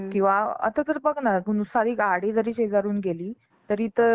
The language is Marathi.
तरीसुद्धा त्याचा कधी कधी इतका मोठ्याने म्हणजे कर्कश्य आवाज दिला जातो